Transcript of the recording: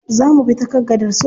Za mubi ta kan gadar suleja.